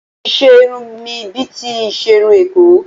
Mo ti ṣe irun mi bíi ti iṣerun Èkó